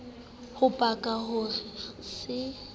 ho paka ho re se